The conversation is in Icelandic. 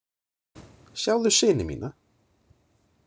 Sjáðu syni mína!